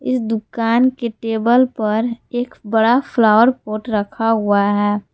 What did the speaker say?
इस दुकान के टेबल पर एक बड़ा फ्लावर पॉट रखा हुआ है।